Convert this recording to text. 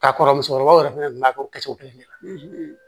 K'a kɔrɔ musokɔrɔbaw yɛrɛ fɛnɛ b'a kɛ o kɛ cogo kelen de la